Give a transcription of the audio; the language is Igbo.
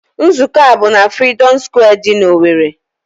Nzụkọ a bụ n'Freedom Square dị n'Owerri.